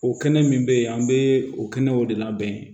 O kɛnɛ min be yen an be o kɛnɛw de labɛn